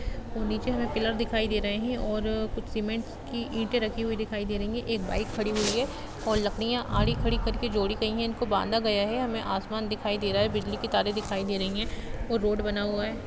नीचे हमे पिलर दिखाई दे रहे हैं और कुछ सीमेंट की ईंटे रखी हुई दिखाई दे रही हैं एक बाइक खड़ी हुई है और लकड़ीयां आड़ी खड़ी करके जोड़ी गई हैं जिनको बांधा गया है हमें आसमान दिखाई दे रहा है बिजली की तारे दिखाई दे रही हैं और रोड बना हुआ है।